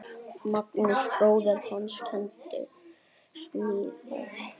Magnús bróðir hans kenndi smíðar.